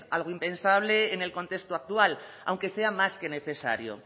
algo impensable en el contexto actual aunque sea más que necesario